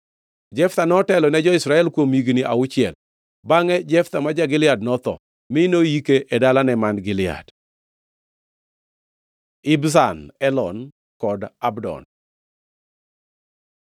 Jeftha notelo ne jo-Israel kuom higni auchiel. Bangʼe Jeftha ma ja-Gilead notho, mi noyike e dalane man Gilead. Ibzan, Elon kod Abdon